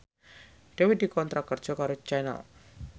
Dewi dikontrak kerja karo Channel